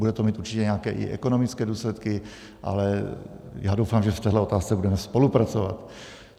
Bude to mít určitě i nějaké ekonomické důsledky, ale já doufám, že v této otázce budeme spolupracovat.